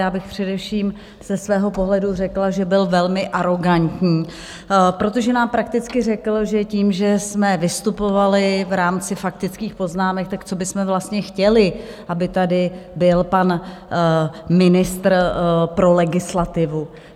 Já bych především ze svého pohledu řekla, že byl velmi arogantní, protože nám prakticky řekl, že tím, že jsme vystupovali v rámci faktických poznámek, tak co bychom vlastně chtěli, aby tady byl pan ministr pro legislativu?